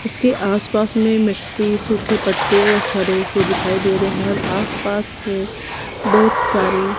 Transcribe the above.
उसके आसपास में मिट्टी सूखे पत्ते और हरे से दिखाई दे रहे हैं और आसपास में बहुत सारे--